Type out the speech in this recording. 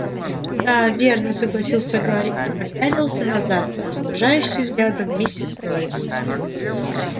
да верно согласился гарри и попятился назад под остужающим взглядом миссис норрис